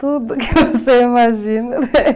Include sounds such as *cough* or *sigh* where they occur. Tudo que você imagina. *laughs*